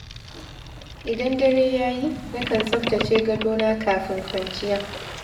Idan dare ya yi, na kan tsaftace gadona kafin kwanciya.